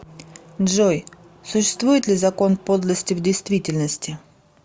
джой существует ли закон подлости в действительности